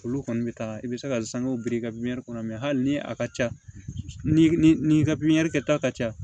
Olu kɔni bɛ taa i bɛ se ka sangew biri i ka pipiniyɛri kɔnɔ mɛ hali ni a ka ca ni i ka pipiniyɛri kɛta ka ca